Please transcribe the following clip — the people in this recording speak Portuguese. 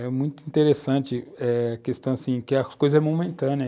É muito interessante eh a questão assim que as coisas são momentâneas.